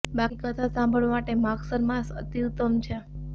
બાકી કથા સાંભળવા માટે માગસર માસ અતિ ઉત્તમ છે